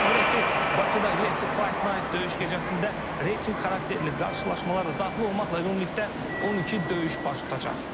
Qeyd edək ki, Bakıda UFC Fight Night döyüş gecəsində reytinq xarakterli qarşılaşmalar da daxil olmaqla ümumilikdə 12 döyüş baş tutacaq.